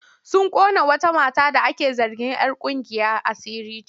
Sun ƙona wata mata da ake zargin'yar ƙungiyar asiri ce.